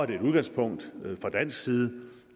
det et udgangspunkt fra dansk side